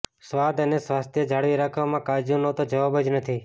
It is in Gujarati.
સ્વાદ અને સ્વાસ્થ્ય જાળવી રાખવામાં કાજૂ નો તો જવાબ જ નથી